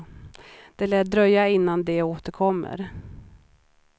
Det lär dröja innan de återkommer.